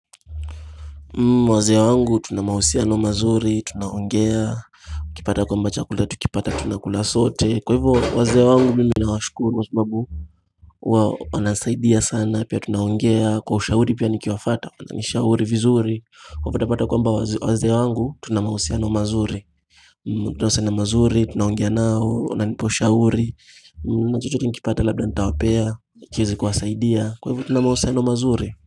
Wazee wangu tuna mahusiano mazuri tunaongea ukipata kwamba chakula tukipata tuna kula sote kwa hivyo wazee wangu mimi na washukuru kwasababu huwa wanasaidia sana pia tunaongea kwa ushahuri pia nikiwafuata wananishahuri vizuri wapatapata kwamba wazee wangu tuna mahusiano mazuri tunahusiana mazuri tunaongea nao wananipa ushauri chochote ni kipata labda nitawapea kiweze kuwasaidia kwa hivyo tuna mahusiano mazuri.